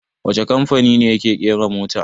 Wacce kamfani ne yake ƙera mota?